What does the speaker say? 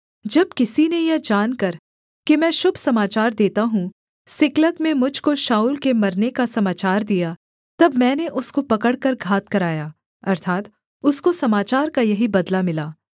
जब किसी ने यह जानकर कि मैं शुभ समाचार देता हूँ सिकलग में मुझ को शाऊल के मरने का समाचार दिया तब मैंने उसको पकड़कर घात कराया अर्थात् उसको समाचार का यही बदला मिला